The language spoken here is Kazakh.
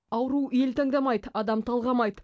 ауру ел таңдамайды адам талғамайды